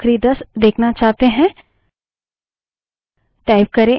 यदि लम्बी सूची के बजाय आप केवल आखिरी दस देखना चाहते हैं